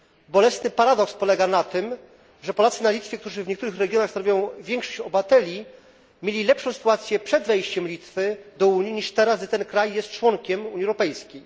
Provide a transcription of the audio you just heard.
Bolesny paradoks polega na tym, że Polacy na Litwie, którzy w niektórych regionach stanowią większość obywateli, mieli lepszą sytuację przed wejściem Litwy do Unii niż teraz, kiedy kraj ten jest członkiem Unii Europejskiej.